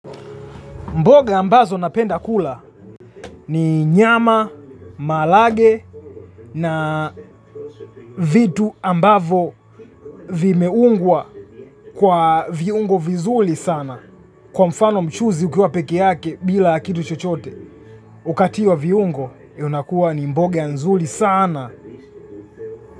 Mboga ambazo napenda kula nu nyama, mahalage na vitu ambavo vimeungwa kwa viungo vizuli sana. Kwa mfano mchuzi ukiwa peke yake bila kitu chochote, ukatiwa viungo yunakuwa ni mboga nzuli sana.